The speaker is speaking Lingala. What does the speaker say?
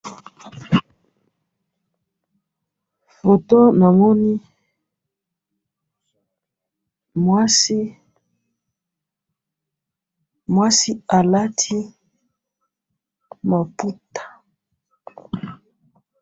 Na moni mwasi alati maputa.